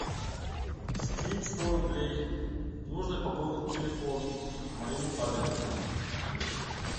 скинь сто рублей нужно пополнить телефон моему папе